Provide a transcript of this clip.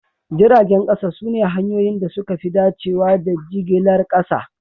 Jiragen kasa sune hanyoyin da suka fi dacewa da jigilar kasa